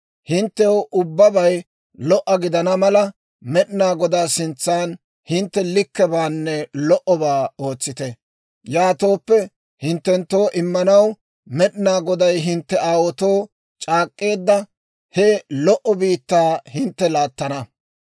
Hinttew ubbabay lo"a gidana mala, Med'inaa Godaa sintsan hintte likkebaanne lo"obaa ootsite. Yaatooppe, hinttenttoo immanaw Med'inaa Goday hintte aawaatoo c'aak'k'eedda, he lo"o biittaa hintte laattana.